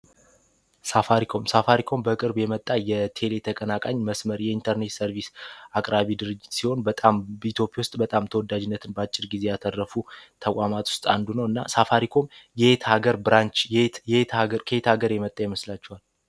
ሳፋሪiኮም ሳፋሪኮም በቅርብ የመጣ የቴሌ ተቀናቃኝ መስመር የኢንተርኔት ሰርቪስ አቅራቢ ድርጅት ሲሆን በጣም ቢቶፕ ውስጥ በጣም ተወዳጅነትን በአጭር ጊዜ ያተረፉ ተቋማት ውስጥ አንዱ ነው፡፡ እና ሳፋሪኮም የት ሀገር ብራንች የከሄት ሀገር የመጣ የመስላቸዋል፡፡